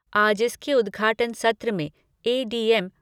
आज इसके उदघाटन सत्र में ए डी एम